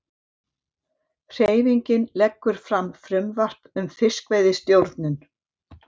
Hreyfingin leggur fram frumvarp um fiskveiðistjórnun